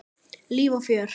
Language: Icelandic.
Líf og fjör.